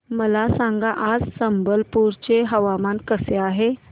मला सांगा आज संबलपुर चे हवामान कसे आहे